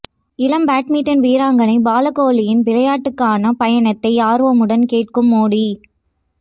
இளம் பேட்மிண்டன் வீராங்கனை பாலக்கோலியின் விளையாட்டுக்கான பயணத்தை ஆர்வமுடன் கேட்கும் மோடி